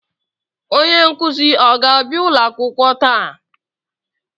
Onye nkuzi ọ ga-abịa ulo akwụkwọ taa?